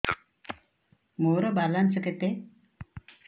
ମୋର ବାଲାନ୍ସ କେତେ